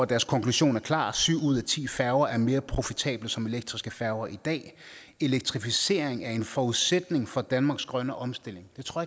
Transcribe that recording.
deres konklusion er klar at syv ud af ti færger er mere profitable som elektriske færger i dag elektrificering er en forudsætning for danmarks grønne omstilling det tror